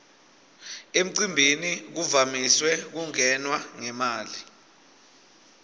emcimbini kuvamise kungenwa ngemali